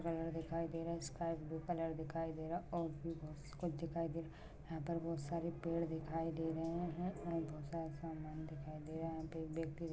colour दिखाई दे रहा है स्काइ ब्लू दिखाई दे रहा और भी बहुत सी कुछ दिखाई दे रहे हैयहाँ पर बहूत सारे पेड़ दिखाई दे रहे है और बहुत सारा सामान दिखाई दे रहा है यहाँ पे एक व्यक्ति दिखाई दे --